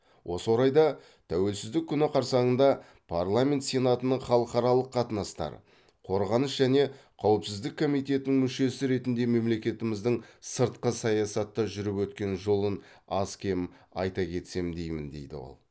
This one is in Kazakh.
осы орайда тәуелсіздік күні қарсаңында парламент сенатының халықаралық қатынастар қорғаныс және қауіпсіздік комитетінің мүшесі ретінде мемлекетіміздің сыртқы саясатта жүріп өткен жолын аз кем айта кетсем деймін деді ол